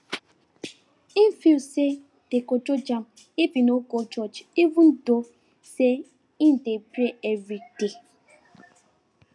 he feel say dem go judge am if im no go church even though say im dey pray everyday